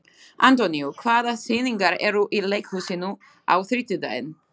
Antonio, hvaða sýningar eru í leikhúsinu á þriðjudaginn?